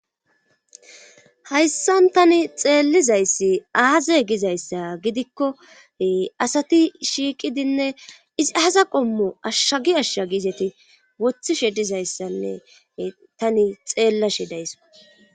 hayssan tani xeellizayssi aaze gizayssa gidikko asati shiiqidinne izi hasa qommo ashshagi ashsha giizeti wothishe dizayssanne tani xeellashe daysso